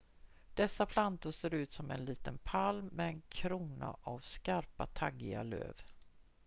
dessa plantor ser ut som en liten palm med en krona av skarpa taggiga löv